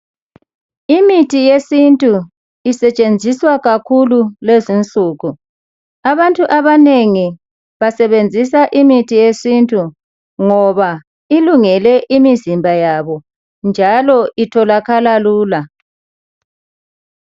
Imithi yesintu isetshenziswa kakhulu kulezinsuku. Abantu abanengi basebenzisa imithi yesintu ngoba ilungele imizimba yabo njalo itholakala lula.